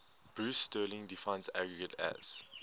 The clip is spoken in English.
bruce sterling defines argot as